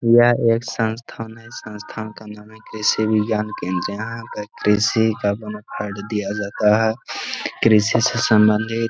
यह एक संस्थान है। संस्थान का नाम है कृषी विज्ञान केंद्र। यहाँ पर कृषी का दिया जाता है। कृषि से सम्बंधित --